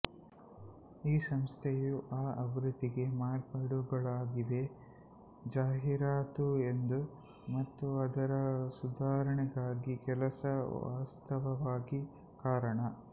ಈ ಸಂಸ್ಥೆಯು ಈ ಆವೃತ್ತಿಗೆ ಮಾರ್ಪಾಡುಗಳಾಗಿವೆ ಜಾಹೀರಾತು ಎಂದು ಮತ್ತು ಅದರ ಸುಧಾರಣೆಗಾಗಿ ಕೆಲಸ ವಾಸ್ತವವಾಗಿ ಕಾರಣ